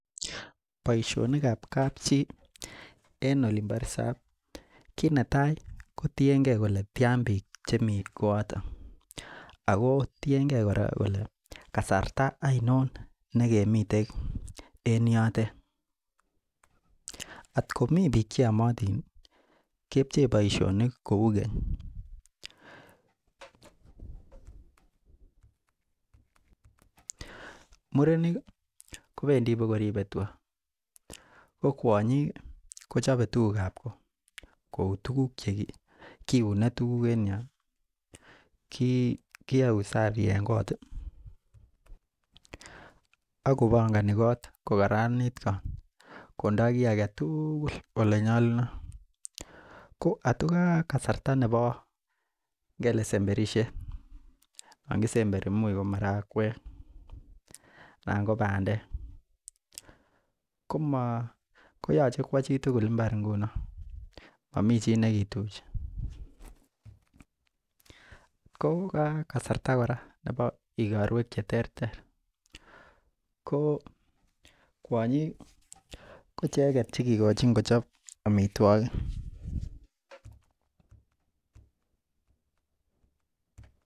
Boisionikab kapchi en olin bo resop kit netai ko tiengee kole tyan biik chemii kooton ako tiengei kora kole kasarta oinon nekemiten en yotet. Atkomii biik cheyomotin kepchee boisionik kou keny murenik ih kobendii koba koribe tuga ko kwonyik kochobe tuguk ab ko kou tuguk che kiune tuguk en yon ih kiyoe usafi en kot ih ak kobongoni kot kokaranit kot kondo kiy aketugul olenyolunot ko atko ka kasarta nebo ngele semberisiet yon kisemberi much ko marakwek anan ko bandek koyoche kwo chitugul mbar ngunon momii chi nekituchi. Ko ka kasarta kora chebo igorwek cheterter ko kwonyik ih ko icheket chekikochin kochob amitwogik